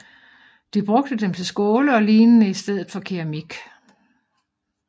De brugte dem til skåle og lignende i stedet for keramik